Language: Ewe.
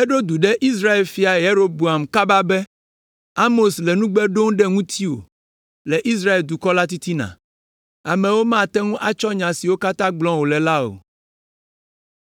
eɖo du ɖe Israel fia Yeroboam kaba be, “Amos le nugbe ɖom ɖe ŋutiwò le Israel dukɔ la titina. Amewo mate ŋu atsɔ nya siwo katã gblɔm wòle la o.